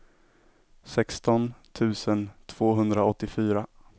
sexton tusen tvåhundraåttiofyra